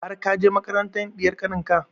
Har ka je makarantar ɗiyar kanin ka?